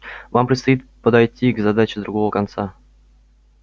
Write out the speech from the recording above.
вам предстоит подойти к задаче с другого конца